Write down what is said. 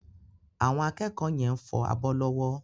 Àwọn akẹ́kọ̀ọ́ yẹn fọ abọ́ lọ́wọ́.